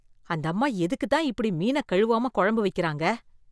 அந்தம்மா எதுக்குதான் இப்படி மீனக் கழுவாம கொழம்பு வைக்கறாங்க?